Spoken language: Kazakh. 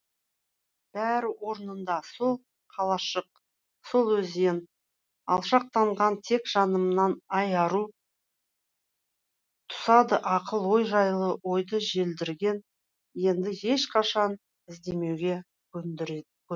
бәрі орнында сол қалашық сол өзен алшақтанған тек жанымнан ай ару тұсады ақыл ол жайлы ойды желдірген енді ешқашан іздемеуге көндіреді